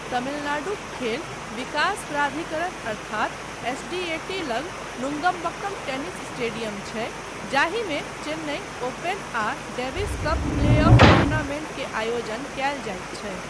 तमिलनाडुक खेल विकास प्राधिकरण अर्थात एसडीएटी लग नुंगंबक्कम टेनिस स्टेडियम छै जाहिमे चेन्नई ओपन आ डेविस कप प्लेऑफ टूर्नामेंट के आयोजन कयल जाइत छै।